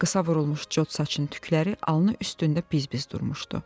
Qısa vurulmuş cod saçının tükləri alnı üstündə biz-biz durmuşdu.